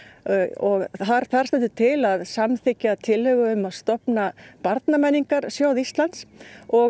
og þar stendur til að samþykkja tillögu um að stofna barnamenningarsjóð Íslands og